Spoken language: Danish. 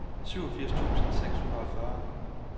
syvogfirs tusind seks hundrede og fyrre